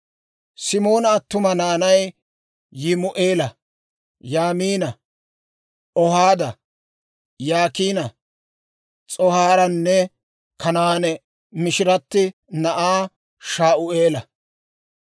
Simoona attuma naanay Yimu'eela, Yaamiina, Ohaada, Yaakiina, S'ohaaranne Kanaane mishiratti na'aa Shaa'uula.